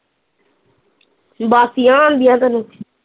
ਬਾਸੀਆ ਆਣ ਦੀਆ ਤੈਨੂੰ